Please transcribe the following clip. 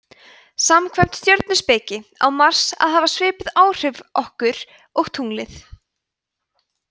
samkvæmt stjörnuspekinni á mars að hafa svipuð áhrif okkur og tunglið